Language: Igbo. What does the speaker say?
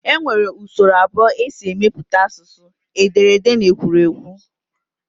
E nwere usoro abụọ e si emepụta asụsụ, ederede na ekwuruekwu